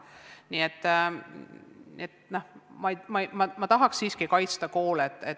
Nii et ma tahaks siiki kaitsta koole.